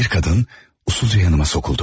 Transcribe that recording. Bir qadın usulca yanıma sokuldu.